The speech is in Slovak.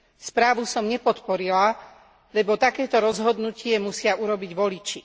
Správu som nepodporila, lebo takéto rozhodnutie musia urobiť voliči.